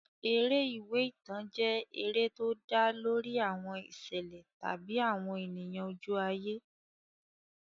Eré ìwé ìtàn jẹ́ eré tó dá lórí àwọn ìṣẹ̀lẹ̀ tàbí àwọn ènìyàn ojú ayé.